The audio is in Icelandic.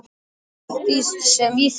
Og allt sem í þeim var.